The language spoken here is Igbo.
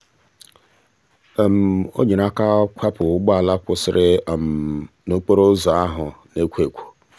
o nyere aka kwapụ ụgbọala kwụsịrị um n'okporoụzọ ahụ na-ekwo ekwo.